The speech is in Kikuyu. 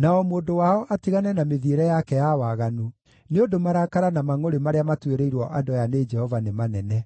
na o mũndũ wao atigane na mĩthiĩre yake ya waganu, nĩ ũndũ marakara na mangʼũrĩ marĩa matuĩrĩirwo andũ aya nĩ Jehova nĩ manene.”